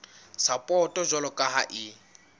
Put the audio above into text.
sapoto jwalo ka ha e